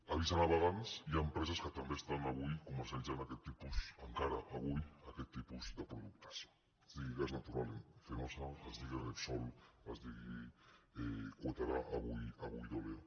avís a navegants hi ha empreses que també estan avui comercialitzant encara avui aquest tipus de produc·tes es diguin gas natural fenosa es diguin repsol es diguin cuétara avui deoleo